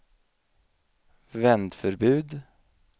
vändförbud